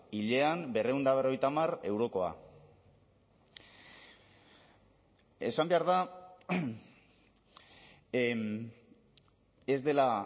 hilean berrehun eta berrogeita hamar eurokoa esan behar da ez dela